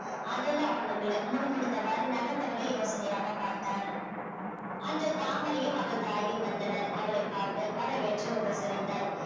அதெல்லாம் ஒண்ணுமில்லை முணுமுணுத்தவாறு நகர்ந்தவளை யோசனையாக பார்த்தான் அன்று தாமரையும் அவள் தாயும் வந்தனர் அவளைப் பார்க்க வரவேற்று உபசரித்தாள்